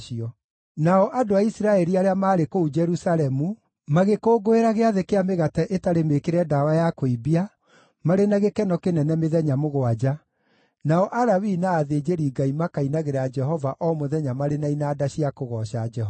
Nao andũ a Isiraeli arĩa maarĩ kũu Jerusalemu magĩkũngũĩra Gĩathĩ kĩa Mĩgate ĩtarĩ Mĩĩkĩre Ndawa ya Kũimbia marĩ na gĩkeno kĩnene mĩthenya mũgwanja, nao Alawii na athĩnjĩri-Ngai makainagĩra Jehova o mũthenya marĩ na inanda cia kũgooca Jehova.